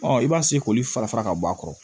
i b'a k'olu fara fara ka bɔ a kɔrɔ